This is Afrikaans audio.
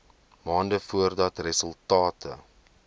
maande voordat resultate